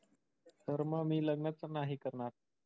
तर मग मी लग्नच नाही करणार.